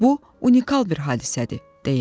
Bu unikal bir hadisədir, deyirdi.